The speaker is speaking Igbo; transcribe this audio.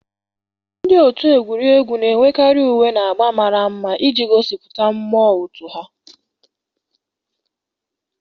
Ndị otu egwuregwu na-enwekarị uwe na agba mara mma iji gosipụta mmụọ otu ha na